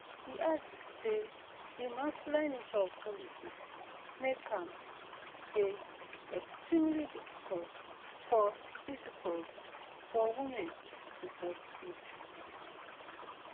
e add say di masculine nature of politics make am dey extremely difficult for difficult for women to succeed